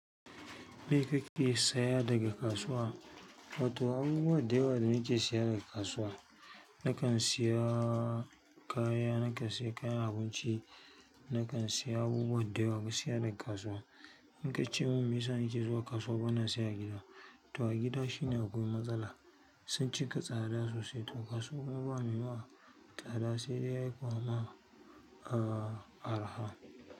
Me kake saya daga kasuwa? To abubuwa da yawa muke siya daga kasuwa. Nakan siya kaya, nakan siya kayan abinci, nakan siya abubuwa da yawa gaskiya daga kasuwa. In ka ce mun me yasa nake zuwa kasuwa bana siya gida. To a gida shine akwai matsala sun cika tsada sosai to kasuwa kuma ba mai yi ma tsada sai dai yayi maka, ah arha.